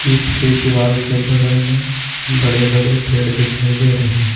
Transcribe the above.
ईट के दीवार के बगल में बड़े बड़े पेड़ दिखाई दे रहे हैं।